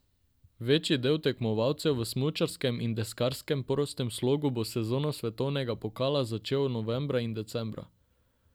Večji del tekmovalcev v smučarskem in deskarskem prostem slogu bo sezono svetovnega pokala začel novembra in decembra.